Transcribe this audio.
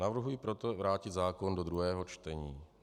Navrhuji proto vrátit zákon do druhého čtení.